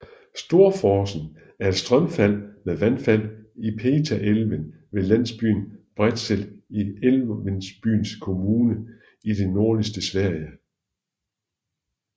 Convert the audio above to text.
Storforsen er et strømfald med vandfald i Piteälven ved landsbyen Bredsel i Älvsbyns kommune i det nordligste Sverige